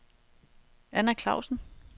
Anna Clausen